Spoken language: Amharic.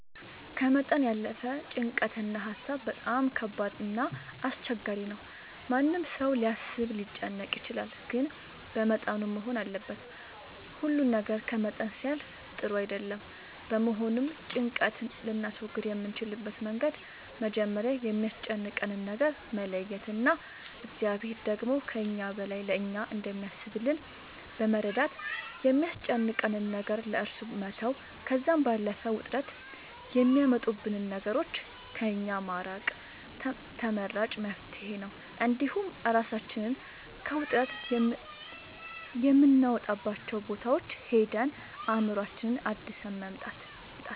ከመጠን ያለፈ ጭንቀት እና ሀሳብ በጣም ከባድ እና አስቸጋሪ ነው ማንም ሰው ሊያስብ ሊጨነቅ ይችላል ግን በመጠኑ መሆን አለበት ሁሉ ነገር ከመጠን ሲያልፍ ጥሩ አይደለም በመሆኑም ጭንቀት ልናስወግድ የምንችልበት መንገድ መጀመሪያ የሚያስጨንቀንን ነገር መለየት እና እግዚአብሔር ደግሞ ከእኛ በላይ ለእኛ እንደሚያስብልን በመረዳት የሚያስጨንቀንን ነገር ለእሱ መተው ከዛም ባለፈ ውጥረት የሚያመጡብንን ነገሮች ከእኛ ማራቅ ተመራጭ መፍትሄ ነው እንዲሁም እራሳችንን ከውጥረት የምናወጣባቸው ቦታዎች ሄደን አእምሮአችንን አድሰን መምጣት